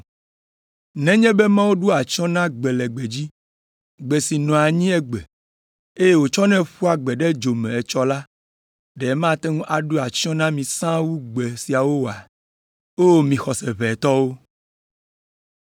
Nenye be Mawu ɖoa atsyɔ̃ na gbe le gbedzi, gbe si nɔa anyi egbe, eye wotsɔnɛ ƒua gbe ɖe dzo me etsɔ la, ɖe mate ŋu aɖo atsyɔ̃ na mi sãa wu gbe siawo oa? O, mi xɔse ʋɛ tɔwo!